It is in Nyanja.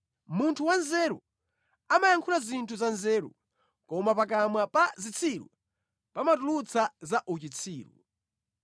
Munthu wanzeru amayankhula zinthu za nzeru, koma pakamwa pa zitsiru pamatulutsa za uchitsiru.